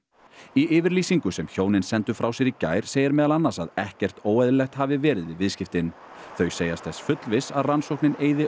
í yfirlýsingu sem hjónin sendu frá sér í gær segir meðal annars að ekkert óeðlilegt hafi verið við viðskiptin þau segjast þess fullviss að rannsóknin eyði